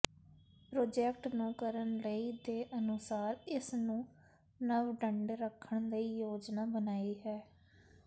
project ਨੂੰ ਕਰਨ ਲਈ ਦੇ ਅਨੁਸਾਰ ਇਸ ਨੂੰ ਨਵ ਡੰਡੇ ਰੱਖਣ ਲਈ ਯੋਜਨਾ ਬਣਾਈ ਹੈ